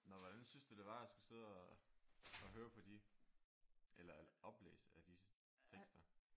Nå hvordan synes du det var at skulle sidde og og høre på de eller oplæse af disse tekster?